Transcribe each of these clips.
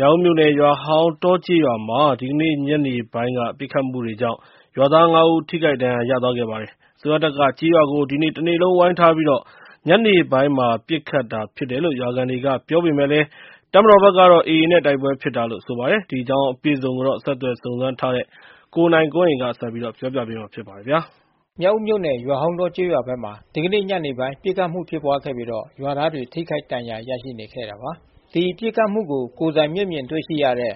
မြောက်ဦးမြို့နယ် ရွာဟောင်းတောကျေးရွာမှာ ဒီကနေ့ညနေပိုင်းက ပစ်ခတ်မှုတွေကြောင့် ရွာသား ၅ ဦး ထိခိုက် ဒဏ် ရာရခဲ့ပါတယ်။ အစိုးရတပ်က ကျေးရွာကို ဒီနေ့တနေ့လုံး ဝိုင်းထားပြီး ညနေပိုင်း ပစ်ခတ်တာဖြစ်တယ်လို့ ရွာခံတွေ က ပြောပေမယ့်လည်း ၊ တပ်မတော်ဖက်ကတော့ AA နဲ့ တိုက်ပွဲဖြစ်တာလို့ ဆိုပါတယ်။ ကိုနိုင်ကွန်းအိန် စုံစမ်းမေးမြန်း ထားပါတယ်။ မြောက်ဦးမြို့နယ် ရွာဟောင်းတောကျေးရွာဘက်မှာ ဒီကနေ့ညနေပိုင်း ပစ်ခတ်မှုဖြစ်ပွားခဲ့ပြီး ရွာသားတွေ ထိခိုက် ဒဏ်ရာ ရရှိနေခဲ့တာပါ။ ဒီပစ်ခတ်မှုကို ကိုယ်တိုင်မျက်မြင်တွေ့ရှိရတဲ့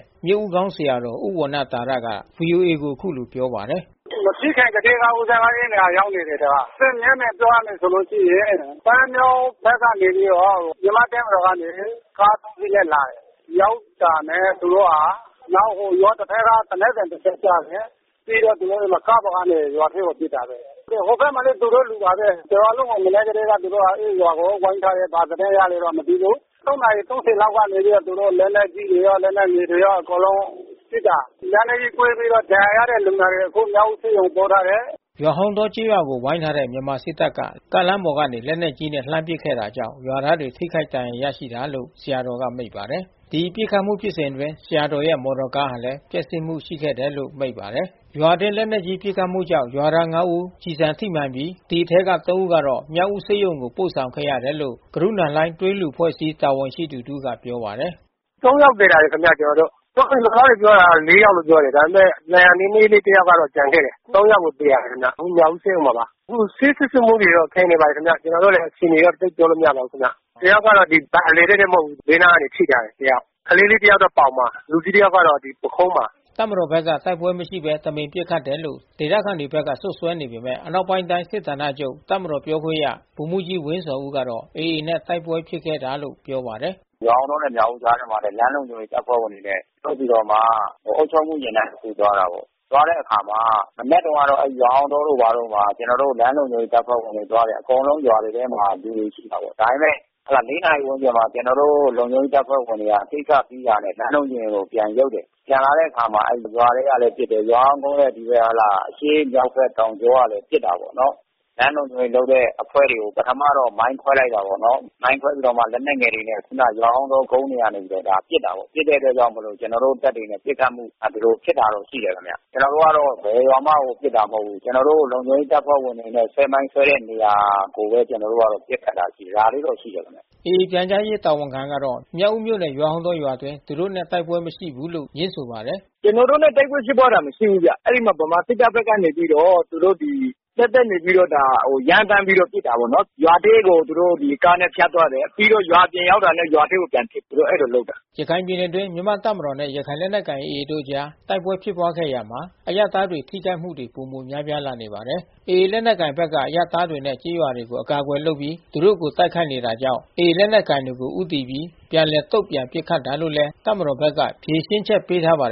ဆရာတော်ဦးဝဏ္ဏသာရက ဗွီအိုအေကို အခုလိုပြောပါတယ်။ “မဖြစ်ခင်ကတည်းက ဦးဇင်းအဲဒီနေရာကိုရောက်နေတယ်။ မျက်မြင်ပြောရလို့ ရှိရင် ပန်းမြောင်းဖက်ကနေပြီးတော့ မြန်မာ့တပ်မတော်ဘက်ကနေ ကား(၃)စီးနဲ့လာတယ်။ ရောက်တာနဲ့သူတို့က ရွာတဖက်ကသေနတ်သံ တချက်ကြား တယ်။ ပြီးသူတို့က ကားပေါ်ကနေ ရွာထဲကို ပစ်တာ။ ဟိုဖက်မှာလဲ သူတို့လူပါဘဲ။ တရွာလုံးကိုသူတို့ မနက်က တည်းက ဝိုင်းထားတယ်။ ဘာသတင်းရလဲ မသိဘူး။ (၃)နာရီ(၃၀)လောက်ကနေ သူတို့လက်နက်ကြီးတွေရော လက်နက် ငယ်တွေရော အကုန်လုံးပစ်တာ။လက်နက်ကြီးကွဲပြီး ဒဏ်ရာရတဲ့ လူနာတွေ အခုမြောက်ဦးဆေးရုံ ပို့ထားတယ်။” ရွာဟောင်းတောကျေးရွာကို ဝိုင်းထားတဲ့ မြန်မာစစ်တပ်က ကားလမ်းပေါ်ကနေ လက်နက်ကြီး နဲ့ လှမ်းပစ်ခဲ့တာကြောင့် ရွာသားတွေ ထိခိုက်ဒဏ်ရာရတာလို့ ဆရာတော်ကမိန့်ပါတယ်။ ဒီပစ်ခတ်မှု ဖြစ်စဉ်အတွင်း ဆရာတော်ရဲ့မော်တော်ကားလဲ ပျက်စီးမှုရှိခဲ့တယ်လို့ လဲမိန့်ပါတယ်။ ရွာအတွင်း လက်နက်ကြီးပစ်ခတ်မှုကြောင့် ရွာသား(၅)ဦး ကျည်ဆံထိမှန်ပြီး ဒီအထဲက(၃)ဦးကိုတော့ မြောက်ဦးဆေးရုံ ကို ပို့ဆောင်ခဲ့ရတယ်လို့ ဂရုဏာလှိုင်း သွေးလှူအဖွဲ့အစည်း တာဝန်ရှိသူတဦးက ပြောပါတယ်။ “(၃)ယောက် သယ်လာတယ်ခင်ဗျကျွန်တော်တို့။ ရွာသားတွေပြောတာတော့ (၄)ယောက်လို့ ပြောတယ်။ ဒါပေမဲ့ ဒဏ်ရာ နည်းနည်းလေး တယောက်က ကျန်ခဲ့တယ်။ (၃)ယောက်ကို သယ်လာတယ် အခုမြောက်ဦးဆေးရုံမှာပါ။ ဆေးစစ်ဆေးမှုတော့ ခံယူနေပါတယ်ခင်ဗျ။ ကျွန်တော်တို့လဲ အခြေအနေကို သိပ်ပြောလို့မရပါဘူးခင်ဗျ။ တယောက်ကတော့ ဒီဗိုက်အလယ်တည့်တည့်တော့ မဟုတ်ဘူး။ ဘေးနားကနေ ထိထားတယ်တယောက်။ ကလေးလေး တယောက်က ပေါင်မှာ။ လူကြီး တယောက်က ပုခုံးမှာ။ ” တပ်မတော်ဖက်က တိုက်ပွဲမရှိဘဲ တမင်ပစ်ခတ်တယ်လို့ ဒေသခံတွေဖက်က စွပ်စွဲနေပေမဲ့၊ အနောက်ပိုင်းတိုင်း စစ်ဌာန ချုပ်ပြောခွင့်ရ ဗိုလ်မှူးကြီးဝင်းဇော်ဦးကတော့ AAနဲ့တိုက်ပွဲဖြစ်ခဲ့တာ လို့ပြောပါတယ်။ “ရွာဟောင်းတောနဲ့မြောက်ဦးမြို့ကြားထဲမှာလဲ လမ်းလုံခြုံရေး တပ်ဖွဲ့ဝင်တွေနဲ့ထုတ်ပြီးတော့မှ အုပ်ချုပ်မှုယာဉ်တန်းတခု သွားတယ်ပေါ့။ သွားတဲ့အခါမှာ မနက်တုန်း ကတော့ ရွာဟောင်းတောတို့ ဘာတို့မှာ ကျွန်တော်တို့လမ်းလုံခြုံရေးတပ်ဖွဲ့ဝင်တွေသွားတယ်။ အကုန်လုံးရွာတွေထဲမှာ လူတွေရှိပါတယ်။ ဒါပေမဲ့ (၄)နာရီကျော်မှာ ကျွန်တော်တို့ လုံခြုံရေးတပ်ဖွဲ့ ဝင် တွေက ကိစ္စရှိတာ နဲ့လမ်းလုံခြုံရေးကိုပြန်ရုပ်တယ်။ ပြန်လာတဲ့အခါရွာထဲကလဲပစ်တယ်။ ရွာစောင်းကုန်းနဲ့ဒီ အရှေ့ မြောက် ဖက်တောင်ကြောကလဲပစ်တာပေါ့နော်။ လမ်းလုံခြုံရေးအဖွဲ့တွေကို ပထမတော့ မိုင်းခွဲလိုက်တယ်ပေါ့နော်။ မိုင်းခွဲပြီးတော့မှ လက်နက်ငယ်တွေနဲ့ ခုနရွာဟောင်းတောကုန်း ကနေ ပစ်တာပေါ့။ ပစ်တဲ့အတွက်ကြောင့်မို့လို့ ကျွန်တော်တို့တပ်တွေနဲ့ပစ်ခတ်မှု ဖြစ်တာရှိတယ်ခင်ဗျ။ ကျွန်တော်တို့ ဘယ်ရွာမှ ပစ်တာမဟုတ်ဘူး။ ကျွန်တော်တို့ လုံခြုံရေး တပ်ဖွဲ့ဝင်တွေနဲ့ ဆွဲမိုင်းဆွဲတဲ့နေရာကိုဘဲ ကျွန်တော်တို့က ပစ်ခတ်တာ။ ဒါလေးတော့ရှိတယ်ခင်ဗျ။ ” AA ပြန်ကြားရေးတာဝန်ခံခိုင်သုခကတော့ မြောက်ဦးမြို့နယ် ရွာဟောင်းတောရွာအတွင်း သူတို့ တိုက်ပွဲမရှိဘူးလို့ ငြင်းဆိုပါတယ်။ “ကျွန်တော်တို့နဲ့တိုက်ပွဲဖြစ်ပွားတာမရှိဘူးခင်ဗျ။ ဗမာစစ်တပ်ကနေပြီးတော့ သူတို့ဒါ ရမ်းသန်း ပြီးတော့ ပစ်တာပေါ့နော်။ ရွာထဲကိုသူတို့ကားနဲ့ဖြတ်သွားတယ်။ ပြီးတော့ ရွာအပြင်ရောက်တာနဲ့ ရွာထဲ ပြန်ပစ်တယ်။ သူတို့အဲဒီလိုလုပ်တာ။” ရခိုင်ပြည်နယ်အတွင်းမြန်မာ့တပ်မတော်နဲ့ ရခိုင်လက်နက်ကိုင်AAတို့အကြားတိုက်ပွဲဖြစ်ပွားရာမှာ အရပ်သားထိခိုက်မှု တွေ ပိုများလာနေပါတယ်။ AA လက်နက်ကိုင်တွေဘက်က အရပ်သားတွေနဲ့ ကျေးရွာတွေကို အကာအကွယ်လုပ်ပြီး သူတို့ကို တိုက်ခိုက်နေတာကြောင့်၊ AA လက်နက်ကိုင်တွေကို ဦးတည်ပြီး ပြန်လည်တုံ့ပြန်ပစ်ခတ်တာလို့ တပ်မတော်ဘက်က ဖြေရှင်းချက်ပေးပါတယ်